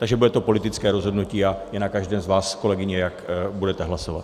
Takže bude to politické rozhodnutí a je na každém z vás, kolegyně, jak budete hlasovat.